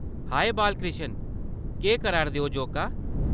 हाए बालकृष्ण, केह्‌‌ करादे होजोका ?